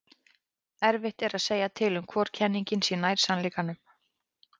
erfitt er að segja til um hvor kenningin sé nær sannleikanum